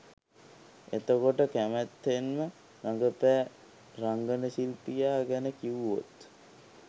එතකොට කැමැත්තෙන්ම රඟපෑ රංගන ශිල්පියා ගැන කිව්වොත්?